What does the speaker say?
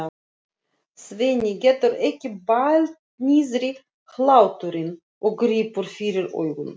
Svenni getur ekki bælt niðri hláturinn og grípur fyrir augun.